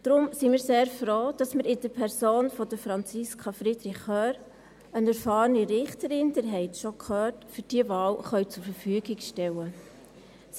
Daher sind wir sehr froh, dass wir in der Person von Franziska Friederich Hörr eine erfahrene Richterin für diese Wahl zur Verfügung stellen können.